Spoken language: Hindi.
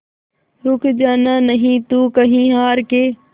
रुक जाना नहीं तू कहीं हार के